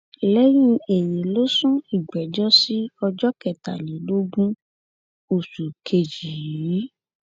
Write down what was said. lẹyìn èyí ló sún ìgbẹjọ sí ọjọ kẹtàlélógún oṣù kejì yìí